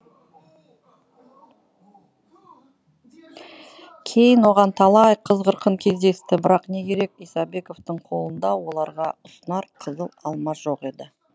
кейін оған талай қыз қырқын кездесті бірақ не керек исабековтың қолында оларға ұсынар қызыл алма жоқ еді